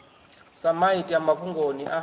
sa maiti a mafhungoni a